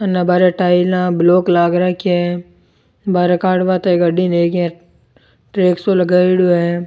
उने बाहरे टाइला ब्लॉक लाग राख्या है बारे काडबा ताहि गाड़ी सो लगायोडो है।